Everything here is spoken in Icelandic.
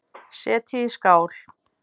Setjið í skál.